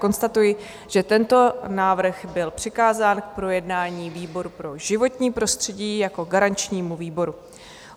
Konstatuji, že tento návrh byl přikázán k projednání výboru pro životní prostředí jako garančnímu výboru.